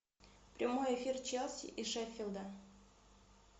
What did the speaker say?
прямой эфир челси и шеффилда